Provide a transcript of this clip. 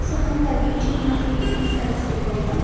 so ಹಂಗಾಗಿ ಚಿಕ್ಕ ಮಕ್ಕಳಿಗೆ ಈಜು ಕಲ್ಸ್ಬೇಕು ಅಂತ --